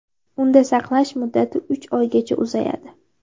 Unda saqlash muddati uch oygacha uzayadi.